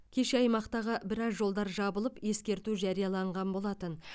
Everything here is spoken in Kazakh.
кеше аймақтағы біраз жолдар жабылып ескерту жарияланған болатын